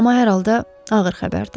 Amma hər halda ağır xəbərdi.